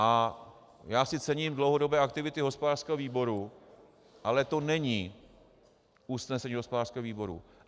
A já si cením dlouhodobé aktivity hospodářského výboru, ale to není usnesení hospodářského výboru.